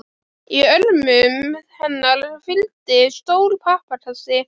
Í örmum hennar hvíldi stór pappakassi.